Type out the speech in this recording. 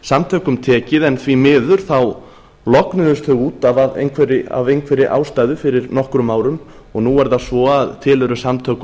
samtökum tekið en því miður þá lognuðust þau út af af einhverri ástæðu fyrir nokkrum árum og nú er það svo að til eru samtök